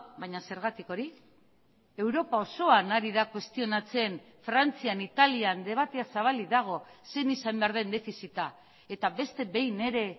baina zergatik hori europa osoan ari da kuestionatzen frantzian italian debatea zabalik dago zein izan behar den defizita eta beste behin ere